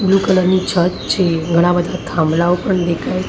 Blue colour ની છત છે ઘણાં બધાં થાંભલાઓ પણ દેખાય છે.